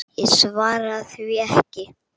Ég svaraði því ekki.